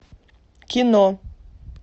кино